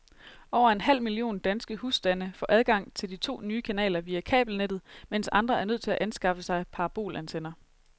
Over en halv million danske husstande får adgang til de to nye kanaler via kabelnettet, mens andre er nødt til at anskaffe sig parabolantenner.